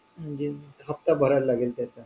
म्हणजे हफ्ता भरावा लागेल त्याचा